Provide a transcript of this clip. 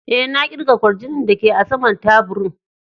E,na kirga kwarjinin da ke a sama'n taburin.